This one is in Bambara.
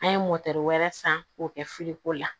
An ye wɛrɛ san k'o kɛ filiko la